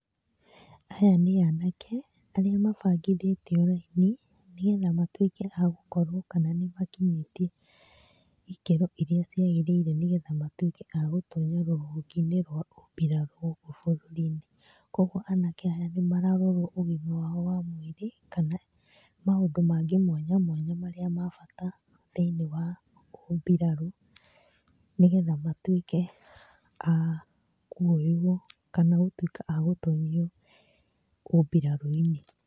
Aya nĩ anake arĩa mabangithĩtio raini nĩ getha matwĩke agũkorwo kana nĩ makinyĩtie ikĩro iria ciagĩrĩire nĩ getha matuĩke agũtonya rũhonge-inĩ rwa ũmbirarũ bũrũri-inĩ. Kũoguo anake aya nĩ mararorwo ũgima wao wa mwĩrĩ kana maũndũ mangĩ mwanya mwanya marĩa ma bata thĩiniĩ wa ũmbirarũ nĩ getha matuĩke a kuoywo kana gũtuĩka a gũtonyio ũmbirarũ-inĩ.